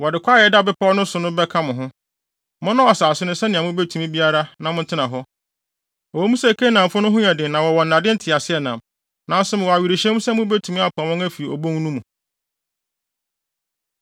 Wɔde kwae a ɛda bepɔw no so no bɛka mo ho. Monnɔw asase no sɛnea mubetumi biara na montena hɔ. Ɛwɔ mu sɛ Kanaanfo no ho yɛ den na wɔwɔ nnade nteaseɛnam, nanso mewɔ awerehyɛmu sɛ mubetumi apam wɔn afi obon no mu.”